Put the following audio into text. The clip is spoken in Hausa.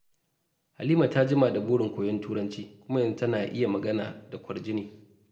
Halima ta jima da burin koyon Turanci, kuma yanzu tana iya magana da kwarjini.